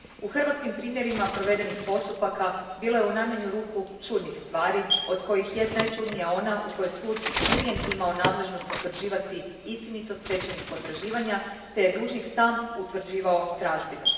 U hrvatskim primjerima provedenih postupaka bilo je i u najmanju ruku čudnih stvari, od kojih je najčudnija ona u kojoj sud nije imao nadležnosti utvrđivati istinitost stečajnih potraživanja te je dužnik sam utvrđivao tražbinu.